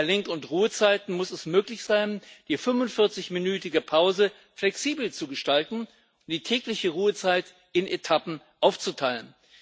Bei Lenk und Ruhezeiten muss es möglich sein, die 45 minütige Pause flexibel zu gestalten, die tägliche Ruhezeit in Etappen aufzuteilen.